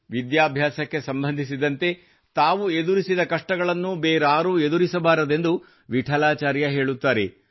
ವಿದ್ಯಾಭ್ಯಾಸಕ್ಕೆ ಸಂಬಂಧಿಸಿದಂತೆ ತಾವು ಎದುರಿಸಿದ ಕಷ್ಟಗಳನ್ನು ಬೇರಾರೂ ಎದುರಿಸಬಾರದೆಂದು ವಿಠಲಾಚಾರ್ಯ ಹೇಳುತ್ತಾರೆ